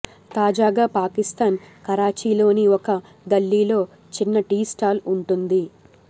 తాజాగా పాకిస్థాన్ కరాచీలోని ఒక గల్లీలో చిన్న టీ స్టాల్ ఉంటుంది